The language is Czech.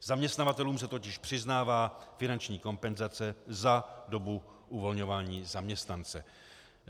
Zaměstnavatelům se totiž přiznává finanční kompenzace za dobu uvolňování zaměstnance.